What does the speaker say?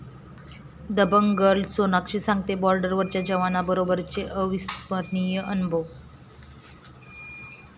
Dabangg girl Sonakshi सांगतेय बॉर्डरवरच्या जवानांबरोबरचे अविस्मरणीय अनुभव